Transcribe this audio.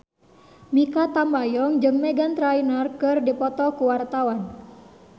Mikha Tambayong jeung Meghan Trainor keur dipoto ku wartawan